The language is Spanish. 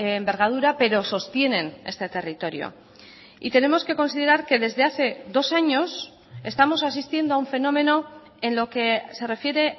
envergadura pero sostienen este territorio y tenemos que considerar que desde hace dos años estamos asistiendo a un fenómeno en lo que se refiere